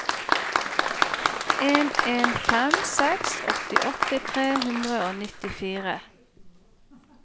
en en fem seks åttiåtte tre hundre og nittifire